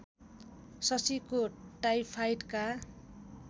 शशीको टाइफाइडका